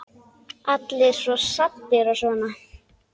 Allir svo saddir og svona.